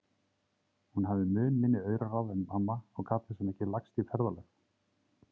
Hún hafði mun minni auraráð en amma og gat þess vegna ekki lagst í ferðalög.